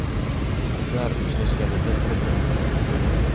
Ular uchrashganida bir-birini o‘pib qo‘ymoqda .